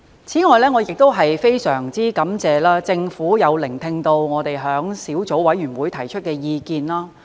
此外，我亦非常感謝政府聆聽我們在法案委員會上提出的意見。